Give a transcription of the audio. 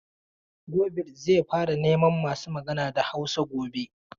Gobir zai fara neman masu magana da Hausa gobe.